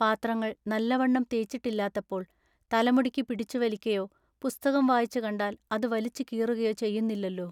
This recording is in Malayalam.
പാത്രങ്ങൾ നല്ലവണ്ണം തേച്ചിട്ടില്ലാത്തപ്പോൾ തലമുടിക്കു പിടിച്ചു വലിക്കയോ പുസ്തകം വായിച്ചു കണ്ടാൽ അതു വലിച്ചു കീറുകയൊ ചെയ്യുന്നില്ലെല്ലൊ.